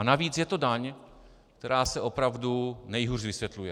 A navíc je to daň, která se opravdu nejhůř vysvětluje.